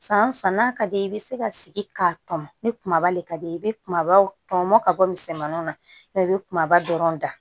San san n'a ka di ye i bɛ se ka sigi ka tɔn ni kumaba le ka d'i ye i bɛ kumabaw tɔmɔ ka bɔ misɛnmaninw na mɛ i bɛ kumaba dɔrɔn da